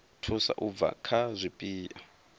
thusa u bva kha zwipia